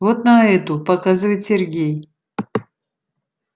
вот на эту показывает сергей